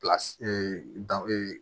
Pilasi dan